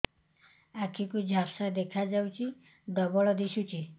ଆଖି କୁ ଝାପ୍ସା ଦେଖାଯାଉଛି ଡବଳ ଦିଶୁଚି